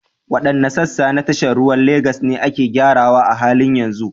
Waɗanne sassa na tashar ruwan Legas ne ake gyarawa a halin yanzu?